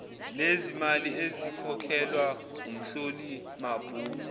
nezimali ezikhokhelwa umhlolimabhuku